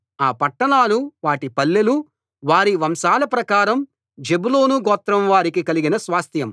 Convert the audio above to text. ఆ పట్టణాలు వాటి పల్లెలు వారి వంశాల ప్రకారం జెబూలూను గోత్రం వారికి కలిగిన స్వాస్థ్యం